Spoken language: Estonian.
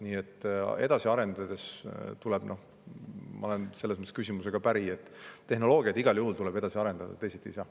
Nii et ma olen selles mõttes küsijaga päri, et tehnoloogiat igal juhul tuleb edasi arendada, teisiti ei saa.